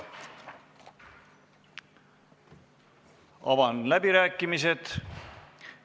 Avan läbirääkimised.